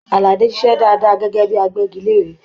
Aládé ṣiṣẹ dáadáa gẹgẹ bíi àgbẹgilère.